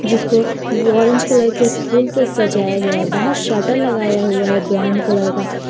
जिसको वो orange colour के फूल से सजाया गया है बाहर शटर लगाया हुआ है ब्राऊन कलर का।